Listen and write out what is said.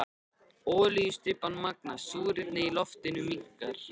Olíustybban magnast, súrefnið í loftinu minnkar.